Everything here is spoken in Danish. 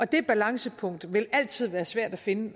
det balancepunkt vil altid være svært at finde